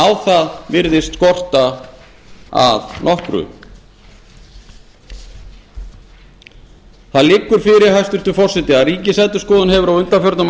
á það virðist skorta að nokkru það liggur fyrir hæstvirtur forseti að ríkisendurskoðun hefur á undanförnum